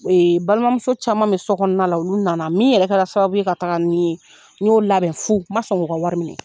balimamuso caman bɛ sokɔnɔna la olu na na min yɛrɛ kɛra sababu ye ka taga ni n ye n y'o labɛn fu n man sɔn k'o ka wari minɛ.